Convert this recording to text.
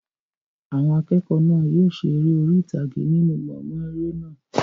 Àwọn akẹ́kọ̀ọ́ náà yóò ṣe eré orí ìtàgé nínú gbọ̀ngàn eré náà.